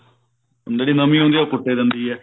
ਜਿਹੜੀ ਮੰਮੀ ਹੁੰਦੀ ਆ ਉਹ ਕੁੱਟ ਹੀ ਦਿੰਦੀ ਆ